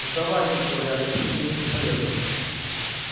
сдавайтесь говорят сопротивление бесполезно